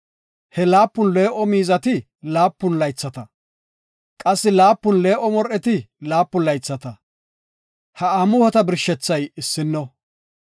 He laapun lo77o miizati laapun laythata, qassi laapun lo77o mor7eti laapun laythata, ha amuhota birshethay issino.